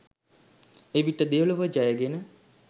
එවිට දෙලොව ජයගෙන